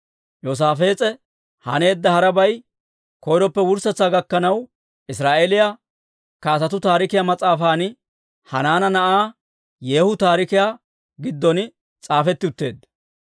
Yoosaafees'e haneedda harabay, koyroppe wurssetsaa gakkanaw Israa'eeliyaa Kaatetuu Taarikiyaa mas'aafan, Hanaana Na'aa Yeehu Taarikiyaa giddon s'aafetti utteedda.